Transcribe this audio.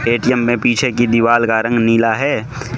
ATM में पीछे की दीवाल का रंग नीला है।